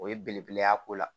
O ye belebele y'a ko la